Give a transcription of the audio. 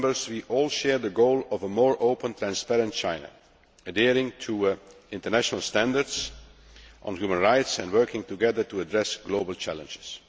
We all share the goal of a more open, transparent China, adhering to international standards on human rights and working together to address global challenges.